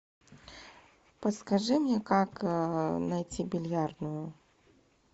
подскажи мне как найти бильярдную